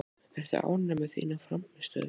Ertu ánægð með þína frammistöðu?